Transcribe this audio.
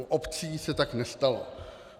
U obcí se tak nestalo.